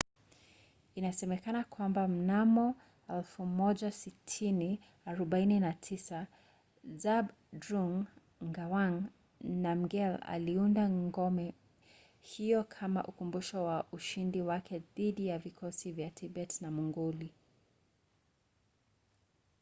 inasemekana kwamba mnamo 1649 zhabdrung ngawang namgyel aliunda ngome hiyo kama ukumbusho wa ushindi wake dhidi ya vikosi vya tibeti na mongoli